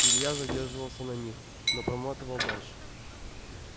илья задерживался на них но проматывал дальше